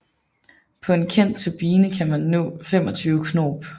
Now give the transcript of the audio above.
På en enkelt turbine kan man nå 25 knob